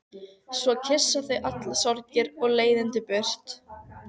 Svo kyssa þau allar sorgir og leiðindi burtu.